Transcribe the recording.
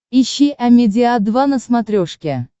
ищи амедиа два на смотрешке